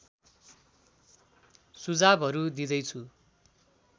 सुझावहरू दिँदै छु